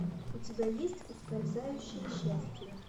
у тебя есть ускользающее счастье